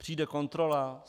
Přijde kontrola.